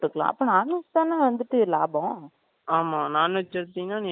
ஆமா non veg எடுத்தீங்கனா நீ என்ன வேணாலும் சாப்பிடுக்கலாம் நான் veg சாப்பிடுக்கலாம் அதுல